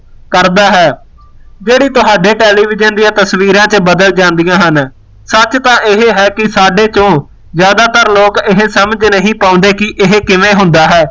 ਕਰਦਾ ਹੈ ਜਿਹੜੇ ਤੁਹਾਡੇ television ਦੀਆਂ ਤਸਵੀਰਾਂ ਤੇ ਬਦਲ ਜਾਂਦੀਆਂ ਹਨ ਸੱਚ ਤਾ ਇਹ ਹੈ ਕਿ ਸਾਡੇ ਚੋ ਜ਼ਿਆਦਾ ਤਰ ਲੋਕ ਇਹ ਸਮਝ ਨਹੀਂ ਪਾਉਂਦੇ ਕਿ ਇਹ ਕਿਵੇਂ ਹੁੰਦਾ ਹੈ?